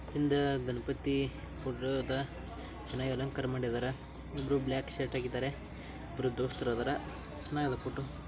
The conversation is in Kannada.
ಹಿಂದೆ ಗಣಪತಿ ಫೋಟೋ ಆದ ಚೆನ್ನಾಗಿ ಅಲಂಕಾರ ಮಾಡಿದರೆ. ಇಬ್ಬರು ಬ್ಲಾಕ್ ಷರ್ಟ್ ಹಾಕಿದ್ದಾರೆ. ಇಬ್ಬರು ದೋಸ್ತರು ಇದ್ದಾರೆ. ಚೆನ್ನಾಗಿ ಇದೆ ಫೋಟೋ .